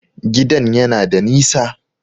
Gidan yana da nisa